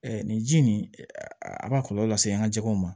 nin ji nin a b'a kɔlɔlɔ se an ka jɛgɛw ma